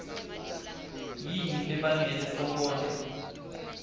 yini lebangele sonkondlo